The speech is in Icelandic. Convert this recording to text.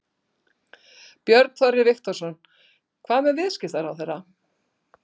Björn Þorri Viktorsson: Hvað með viðskiptaráðherra?